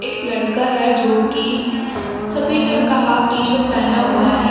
एक लड़का है जो की सफेद रंग का हाफ टी शर्ट पहना हुआ है।